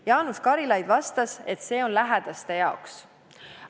Jaanus Karilaid vastas, et see on lähedaste huvides.